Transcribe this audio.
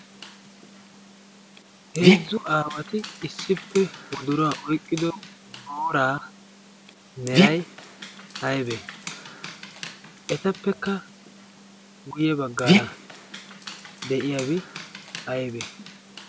heezzu aawati issippe woduraa oiqqido booraa merai ayebe ? etappekka guyye baggaara de7iyaabi aiyebe ?